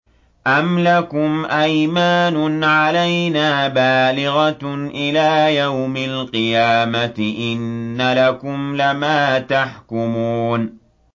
أَمْ لَكُمْ أَيْمَانٌ عَلَيْنَا بَالِغَةٌ إِلَىٰ يَوْمِ الْقِيَامَةِ ۙ إِنَّ لَكُمْ لَمَا تَحْكُمُونَ